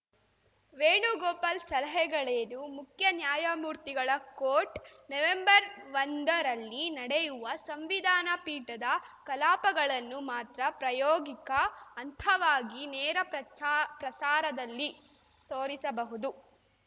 ವೇಣುಗಾಪಾಲ್‌ ಸಲಹೆಗಳೇನು ಮುಖ್ಯ ನ್ಯಾಯಮೂರ್ತಿಗಳ ಕೋರ್ಟ್‌ ನವೆಂಬರ್ಒಂದರಲ್ಲಿ ನಡೆಯುವ ಸಂವಿಧಾನ ಪೀಠದ ಕಲಾಪಗಳನ್ನು ಮಾತ್ರ ಪ್ರಾಯೋಗಿಕ ಹಂತವಾಗಿ ನೇರ ಪ್ರಚಾ ಪ್ರಸಾರದಲ್ಲಿ ತೋರಿಸಬಹುದು